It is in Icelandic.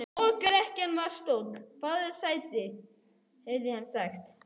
Hjá lokrekkjunni var stóll: Fáðu þér sæti, heyrði hann sagt.